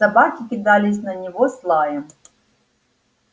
собаки кидались на него с лаем